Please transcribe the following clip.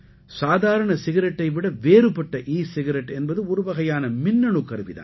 சாதாரண சிகரெட்டை விட வேறுபட்ட ஈ சிகரெட் என்பது ஒரு வகையான மின்னணு கருவி தான்